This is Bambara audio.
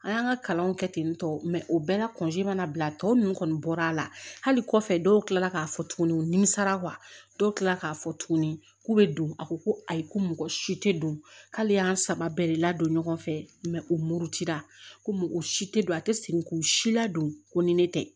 An y'an ka kalanw kɛ ten tɔ o bɛɛ la mana bila tɔ ninnu kɔni bɔra hali kɔfɛ dɔw kila la k'a fɔ tuguni u nimisara dɔw tilala k'a fɔ tuguni k'u bɛ don a ko ko ayi ko mɔgɔ si tɛ don k'ale y'an saba bɛɛ de ladon ɲɔgɔn fɛ u murutira ko o si tɛ don a tɛ segin k'u si ladon ko ni ne tɛ